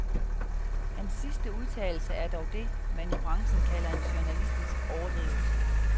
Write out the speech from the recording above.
Hans sidste udtalelse er dog det, man i branchen kalder en journalistisk overdrivelse.